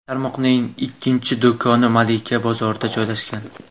Tarmoqning ikkinchi do‘koni Malika bozorida joylashgan.